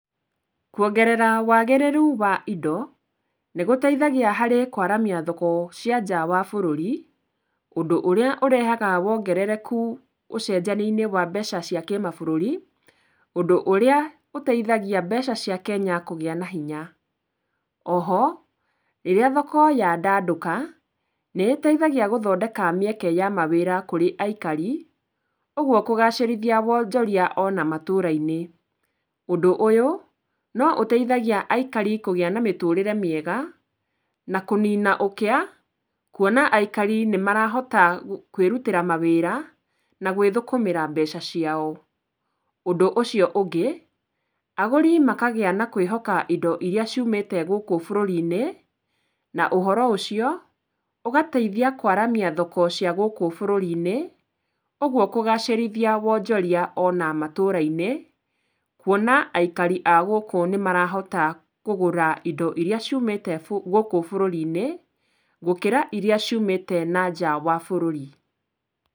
Kũongerera wagĩrĩru wa indo, nĩ gũteithagia harĩ kũaramia thoko cia nja wa bũrũri, ũndũ ũrĩa ũrehaga wongerereku ũcejania-inĩ wa mbeca cia kimabũrũri, ũndũ ũrĩa ũteithagia mbeca cia Kenya kũgĩa na hinya. O ho, rĩrĩa thoko ya ndandũka, nĩ ĩteithagia gũthodeka mĩeke ya mawĩra kũrĩ aikari, kũgwo kũgacĩrithia wonjoria o na matũra-inĩ. Ũndũ ũyũ, no ũteithagia aikari kũgĩa na mĩtũrĩre miega, na kũnina ũkĩa, kũona aikari nĩ marahota kwĩrutĩra mawĩra, na kwĩthũkũmĩra mbeca ciao. Ũndũ ũcio ũngĩ, agũri makagĩa na kwĩhoka indo iria ciumĩte gũkũ bũrũri-inĩ, na ũhoro ũcio, ũgateithia kũaramia thoko cia gũkũ bũrũri-inĩ, ũgwo kũgacĩrithia wonjoria o na matũra-inĩ, kũona aikari a gũkũ nĩ marahota kũgũra indo iria ciumĩte gũkũ bũrũri-inĩ, gũkĩra iria ciumĩte na nja wa bũrũri.